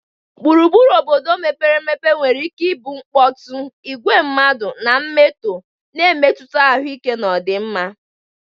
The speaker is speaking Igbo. Gburugburu obodo mepere emepe nwere ike ịbụ mkpọtụ, igwe mmadụ, na emetọọ, na-emetụta ahụike na ọdịmma.